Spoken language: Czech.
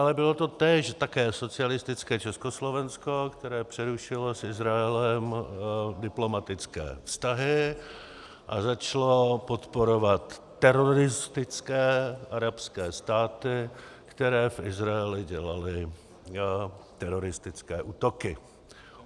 Ale bylo to též socialistické Československo, které přerušilo s Izraelem diplomatické vztahy a začalo podporovat teroristické arabské státy, které v Izraeli dělaly teroristické útoky.